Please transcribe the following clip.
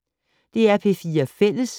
DR P4 Fælles